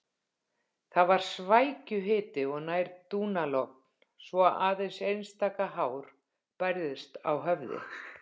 Það var svækjuhiti og nær dúnalogn svo aðeins einstaka hár bærðist á höfði.